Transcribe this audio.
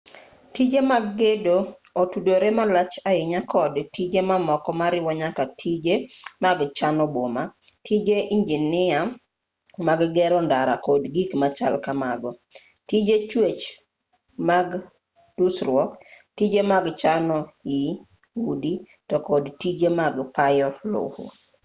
tije mag gedo otudore malach ahinya kod tije mamoko moriwo nyaka tije mag chano boma tije injinia mag gero ndara kod gik machal kamago tije chwech mag dusruok tije mag chano ii udi to kod tije mag payo lowo